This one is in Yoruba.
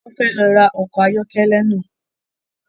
Wọn fẹ ló rá ọkọ ayọkẹlẹ náà